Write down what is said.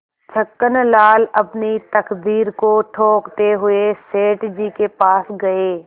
छक्कनलाल अपनी तकदीर को ठोंकते हुए सेठ जी के पास गये